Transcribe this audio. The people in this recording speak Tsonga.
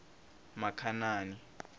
makhanani